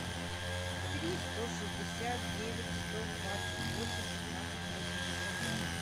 три сто шестьдесят девять сто двадцать восемь пятнадцать восемьдесят два